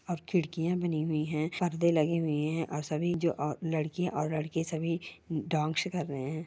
और खिड़कियां बनी हुई हैं परदे लगे हुए हैं और सभी लड़किया और लड़के सभी डांस कर रहे हैं।